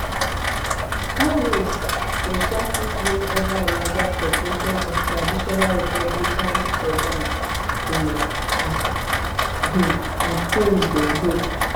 harris go um fit win ova a larger proportion of traditional republican suburban women as um her team dey hope